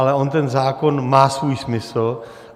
Ale on ten zákon má svůj smysl.